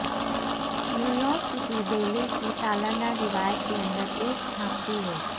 New York city ballet کی سالانہ روایت کے اندر ایک جھانکتی ہے